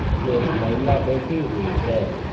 एक महिला बैठी हुई है।